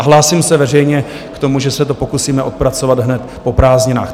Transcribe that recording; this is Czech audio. A hlásím se veřejně k tomu, že se to pokusíme odpracovat hned po prázdninách.